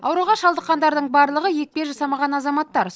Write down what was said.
ауруға шалдыққандардың барлығы екпе жасамаған азаматтар